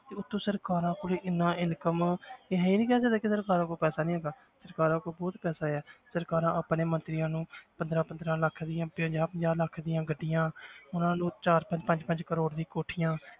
ਤੇ ਉੱਤੋਂ ਸਰਕਾਰਾਂ ਕੋਲ ਇੰਨਾ income ਕਿ ਅਸੀਂ ਨੀ ਕਹਿ ਸਕਦੇ ਕਿ ਸਰਕਾਰਾਂ ਕੋਲ ਪੈਸਾ ਨੀ ਹੈਗਾ ਸਰਕਾਰਾਂ ਕੋਲ ਬਹੁਤ ਪੈਸਾ ਹੈ ਸਰਕਾਰਾਂ ਆਪਣੇ ਮੰਤਰੀਆਂ ਨੂੰ ਪੰਦਰਾਂ ਪੰਦਰਾਂ ਲੱਖ ਦੀਆਂ ਪੰਜਾਹ ਪੰਜਾਹ ਲੱਖ ਦੀਆਂ ਗੱਡੀਆਂ ਉਹਨਾਂ ਨੂੰ ਚਾਰ ਪੰਜ ਪੰਜ ਕਰੌੜ ਦੀਆਂ ਕੋਠੀਆਂ